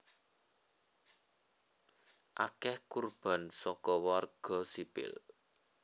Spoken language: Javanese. Akèh kurban saka warga sipil